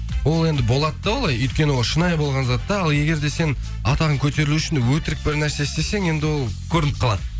ол енді болады да олай өйткені ол шынайы болған зат та ал егер де сен атағың көтерілу үшін өтірік бір нәрсе істесең енді ол көрініп қалады